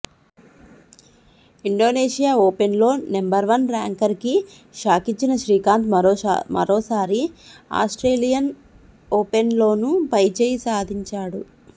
Indonesia ఓపెన్లో number one ర్యాంకర్కి షాకిచ్చిన శ్రీకాంత్ మరోసారి ఆస్ట్రేలియన్ ఓపెన్లోనూ పైచేయి సాధించాడు